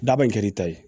Daba in kɛr'i ta ye